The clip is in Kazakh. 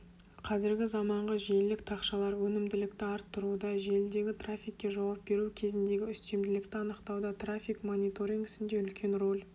қазіргі заманғы желілік тақшалар өнімділікті арттыруда желідегі трафикке жауап беру кезіндегі үстемділікті анықтауда трафик мониторингісінде үлкен рөл